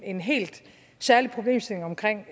en helt særlig problemstilling omkring